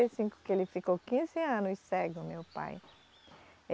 e cinco, que ele ficou quinze anos cego, meu pai.